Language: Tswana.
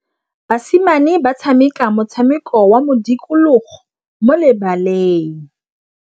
Basimane ba tshameka motshameko wa modikologô mo lebaleng.